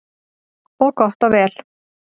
Og gott og vel.